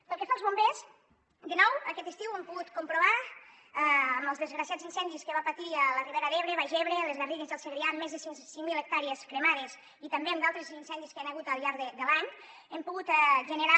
pel que fa als bombers de nou aquest estiu hem pogut comprovar amb els desgraciats incendis que van patir la ribera d’ebre el baix ebre les garrigues i el segrià més de cinc mil hectàrees cremades i també amb altres incendis que hi han hagut al llarg de l’any hem pogut generar